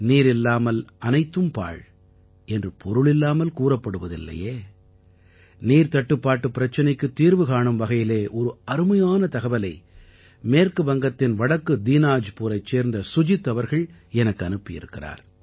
நீரில்லாமல் அனைத்தும் பாழ் என்று பொருளில்லாமல் கூறப்படுவதில்லையே நீர்த்தட்டுப்பாட்டுப் பிரச்சனைக்குத் தீர்வு காணும் வகையிலே ஒரு அருமையான தகவலை மேற்கு வங்கத்தின் வடக்கு தீனாஜ்பூரைச் சேர்ந்த சுஜித் அவர்கள் எனக்கு அனுப்பி இருக்கிறார்